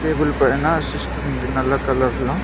Table పైన system ఉంది నల్ల కలర్లో .